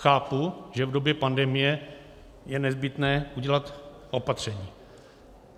Chápu, že v době pandemie je nezbytné udělat opatření.